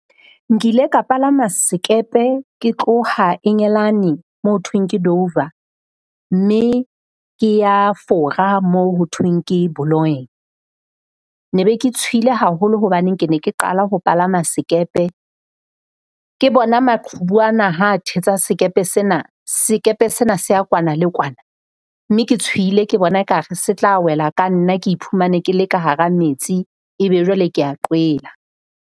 Nkile ka palama sekepe, ke tloha Engelane mo ho thweng ke Dover, mme ke ya Fora mo ho thweng ke . Ne be ke tshohile haholo hobane ke ne ke qala ho palama sekepe. Ke bona maqhubu ana ha a thetsa sekepe sena, sekepe sena se ya kwana le kwana. Mme ke tshohile ke bona ekare se tla wela ka nna ke iphumane ke le ka hara metsi ebe jwale kea qwela.